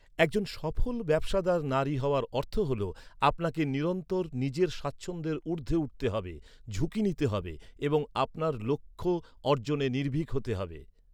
একজন সফল ব্যবসাদার নারী হওয়ার অর্থ হল আপনাকে নিরন্তর নিজের স্বাচ্ছন্দ্যের ঊর্ধ্বে উঠতে হবে, ঝুঁকি নিতে হবে এবং আপনার লক্ষ্য অর্জনে নির্ভীক হতে হবে।